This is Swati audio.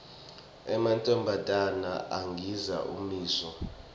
emantfombatana agindza ummiso